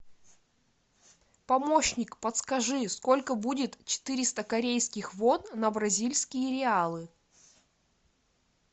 помощник подскажи сколько будет четыреста корейских вон на бразильские реалы